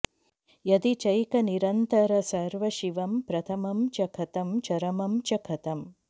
यदि चैकनिरन्तरसर्वशिवं प्रथमं च कथं चरमं च कथम्